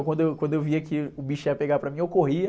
Então, quando eu, quando eu via que o bicho ia pegar para mim, eu corria.